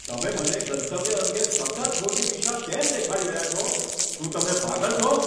તમે મને ગંતવ્ય અંગે સતત ખોટી દિશા કેમ દેખાડી રહ્યા છો? શું તમે પાગલ છો?